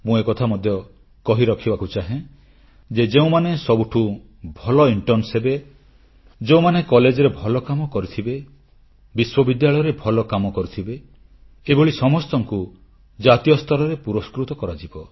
ମୁଁ ଏକଥା ମଧ୍ୟ କହି ରଖିବାକୁ ଚାହେଁ ଯେ ଯେଉଁମାନେ ସବୁଠୁଁ ଭଲ ଇଣ୍ଟର୍ଣ୍ଣ ହେବେ ଯେଉଁମାନେ କଲେଜରେ ଭଲ କାମ କରିଥିବେ ବିଶ୍ୱବିଦ୍ୟାଳୟରେ ଭଲ କାମ କରିଥିବେ ଏଭଳି ସମସ୍ତଙ୍କୁ ଜାତୀୟ ସ୍ତରରେ ପୁରସ୍କୃତ କରାଯିବ